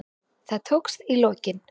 Það tókst í lokin.